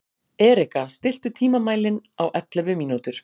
Erika, stilltu tímamælinn á ellefu mínútur.